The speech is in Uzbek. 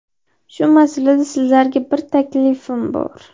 Shu masalada sizlarga bir taklifim bor.